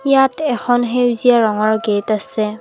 ইয়াত এখন সেউজীয়া ৰঙৰ গেট আছে।